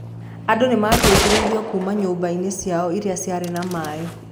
Andũ nĩ maateithirio kuuma nyũmba-inĩ ciao iria ciarĩ na maĩ.